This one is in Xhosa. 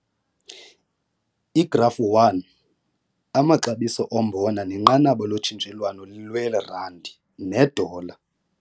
Igrafu 1 - Amaxabiso ombona nenqanaba lotshintshelwano lweRandi nedola.